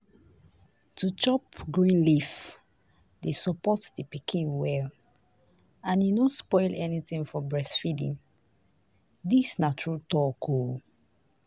to chop green leaf dey support the pikin well and e no spoil anything for breastfeeding. dis na true talk o.